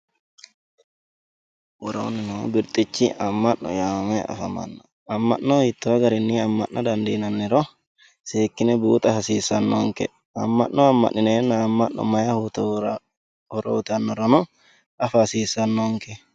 Worooni noo birxichi ama'no yaamame afamano ama'no hiitto garinni ama'na dandiinani seekkine buuxa hasiisanonke ama'no ama'ninenna mayi horo uyittanoro affa hasiisanonke.